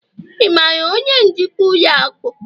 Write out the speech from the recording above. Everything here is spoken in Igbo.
ị maara onye njikwa ụlọ akụ?